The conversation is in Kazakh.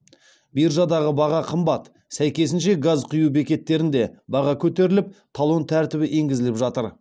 биржадаға баға қымбат сәйкесінше газ құю бекеттерінде баға көтеріліп талон тәртібі енгізіліп жатыр